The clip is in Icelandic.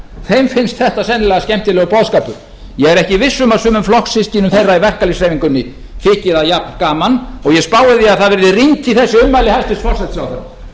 þeim finnst þetta sennilega skemmtilegur boðskapur ég er ekki viss um að sumum flokkssystkinum þeirra í verkalýðshreyfingunni þyki það jafngaman og ég spái því að það verði rýnt í þessi ummæli hæstvirts forsætisráðherra